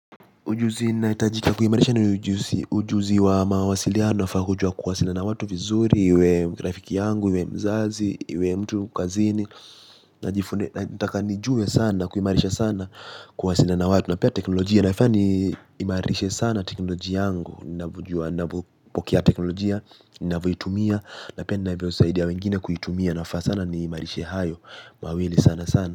Ujuzi inahitajika kuimarisha ni ujuzi ujuzi wa mawasiliano wafaa hujue kuwasiliana watu vizuri iwe rafiki yangu, iwe mzazi, iwe mtu kazini na jifune, nataka nijue sana, kuimarisha sana kuwasiliana na watu na pia teknolojia nafaa ni imarishe sana teknolojia yangu navyojua navo pokea teknolojia, navyoitumia na pia ni na vyosaidia wengine kuitumia nafaa sana ni imarishe hayo, mawili sana sana.